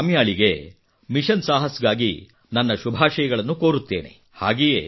ನಾನು ಕಾಮ್ಯಾಳಿಗೆ ಮಿಷನ್ ಸಾಹಸ್ ಗಾಗಿ ನನ್ನ ಶುಭಾಷಯಗಳನ್ನು ಕೋರುತ್ತೇನೆ